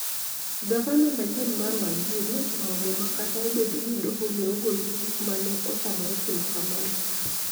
Gavana manyien mar Wajir nochamo muma kata obedo ni doho ne ogolo chik ma ne otamore timo kamano.